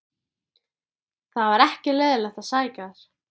Svo töluðu menn saman og sumir tefldu.